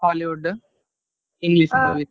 Hollywood, English movie.